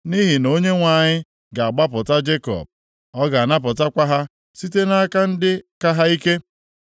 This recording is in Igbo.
Nʼihi na Onyenwe anyị ga-agbapụta Jekọb, ọ ga-anapụtakwa ha site nʼaka ndị ka ha ike.